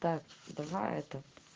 так давай это